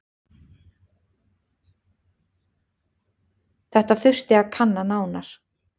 Þetta þurfi að kanna nánar.